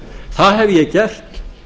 það hef ég gert